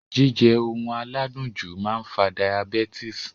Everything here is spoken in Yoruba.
Jíjẹ oun aládùn jù máa n fa diabetes